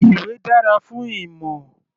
Ìwé dára fún ìmọ̀.